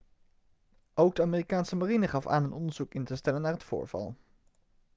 ook de amerikaanse marine gaf aan een onderzoek in te stellen naar het voorval